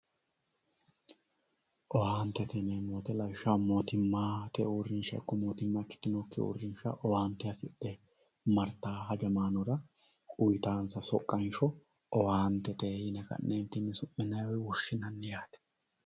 Owaantete yineemo woyite lawishaho moottimate uurinsha ikko mootimma ikkitinokki uurinsha owaante hasidhe maritawo hajamanora uyitansa soqanshoowaantete yine suminayi woyi woshinayi yaate